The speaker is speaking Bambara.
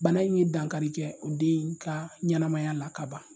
Bana in ye dankari kɛ o den ka ɲɛnamaya la ka ban.